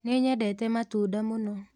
Ninyendete matunda mũno.